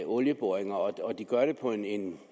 olieboringer de gør det på en